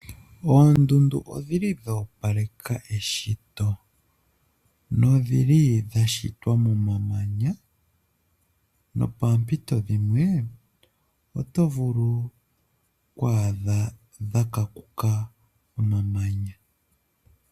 Oondundu odhi li dha opaleka eshito ndhili dha shitwa momamanya, no poompito oto vulu oku adha dha kankuka omamanya